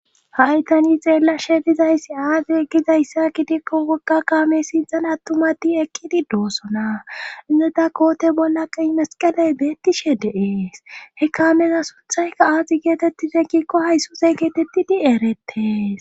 Hay tani xeellashe dizayssi aadi eqgizayssa kidikko wogga kaame sinzan attumati ekkidi doosona inneta koote bolla qayi masqaley beettishe de7ees he kaamena sunthayka aaxi geetettize kikko haysuse geetettidi erettes.